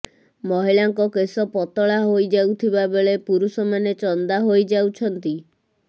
ମହିଳାଙ୍କ କେଶ ପତଳା ହୋଇଯାଉଥିବା ବେଳେ ପୁରୁଷମାନେ ଚନ୍ଦା ହୋଇଯାଉଛନ୍ତି